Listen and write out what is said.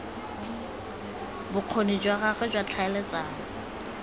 bokgoni jwa gagwe jwa tlhaeletsano